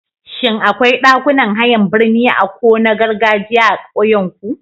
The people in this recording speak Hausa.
Shin akwai ɗakunan hayan birni a ko na gargajiya a ƙauyenku?